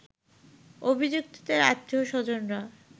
অভিযুক্তদের আত্মীয় স্বজনরা